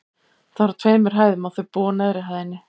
Það er á tveimur hæðum, og þau búa á neðri hæðinni.